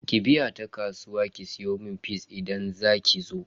Ki biya ta kasuwa ki siyomun fis idan zakizo.